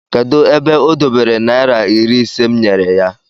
kedu ebe o dobere naira iri ise m nyere ya?